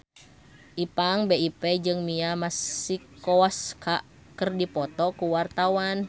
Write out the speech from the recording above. Ipank BIP jeung Mia Masikowska keur dipoto ku wartawan